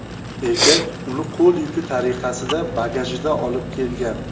Erkak uni qo‘l yuki tariqasida, bagajida olib kelgan.